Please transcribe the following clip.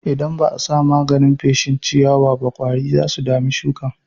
Idan ba'a sa maganin feshin ciyawaba ƙwari zasu dami shuƙin.